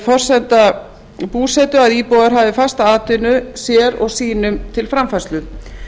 forsenda búsetu að íbúar hafi fasta atvinnu sér og sínum til framfærslu